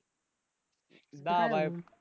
दहा